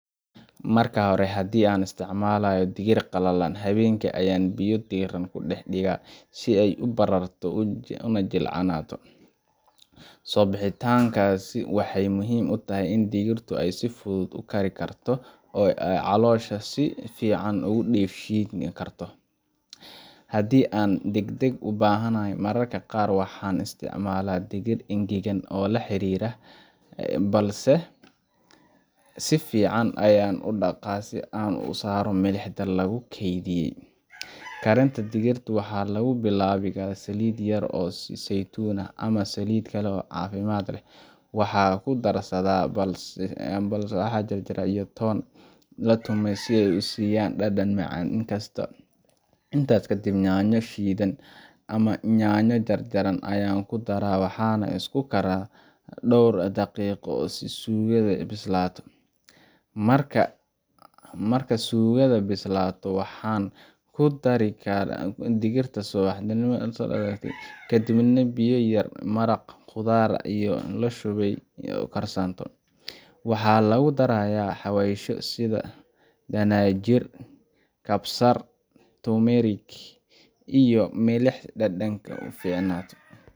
Marka hore, haddii aan isticmaalayo digir qallalan, habeenkii ayaan biyo diirran ku dhex dhigaa si ay u bararto una jilcato. Soobixintaasi waxay muhiim u tahay in digirtu si fudud u kari karto oo ay caloosha si fiican u dheefshiiki karto. Haddii aan deg deg u baahanahay, mararka qaar waxaan isticmaalaa digir engegan oo la xiri karo , balse si fiican ayaan u dhaqaa si aan uga saaro milixda lagu keydiyay. Karinta digirta waxaa lagu bilaabaa saliid yar oo saytuun ah ama saliid kale oo caafimaad leh. Waxaan ku darsadaa basal la jarjaray iyo toon la tumay si ay u siiyaan dhadhan macaan. Intaas kadib, yaanyo shiidan ama yaanyo jarjaran ayaan ku daraa, waxaana isku karsaa dhowr daqiiqo si suugada u bislaato. Marka suugada bislaato, waxaan ku daraa digirta la soobixiyay ama la dhaqay, kadibna biyo yar ama maraq khudaar ayaan ku shubaa si ay u karsanto. Waxaa lagu darayaa xawaashyo sida dhanaanjir kabsar , turmeric, iyo milix si dhadhanka uficnaato